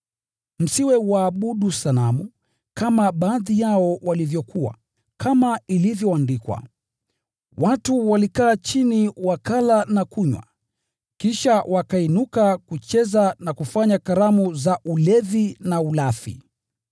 Msiwe waabudu sanamu, kama baadhi yao walivyokuwa, kama ilivyoandikwa, “Watu waliketi chini kula na kunywa, kisha wakainuka kucheza na kufanya sherehe za kipagani.”